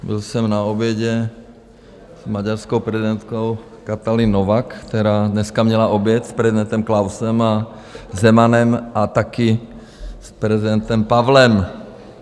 Byl jsem na obědě s maďarskou prezidentkou Katalin Novák, která dneska měla oběd s prezidentem Klausem a Zemanem a taky s prezidentem Pavlem.